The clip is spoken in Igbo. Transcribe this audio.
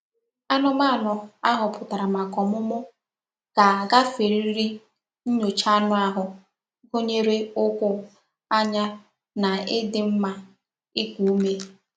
Anụmanụ Ahọpụtara maka ọmụmụ ga-agaferịrị nyocha anụ ahụ, gụnyere ,ụkwụ, anya na ịdị mma iku ume.